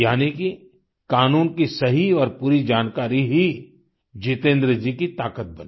यानि कि कानून की सही और पूरी जानकारी ही जितेन्द्र जी की ताकत बनी